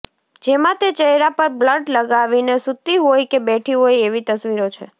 જેમાં તે ચહેરા પર બ્લડ લગાવીને સુતી હોય કે બેઠી હોય એવી તસવીરો છે